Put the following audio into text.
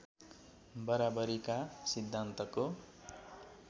बराबरीका सिद्धान्तको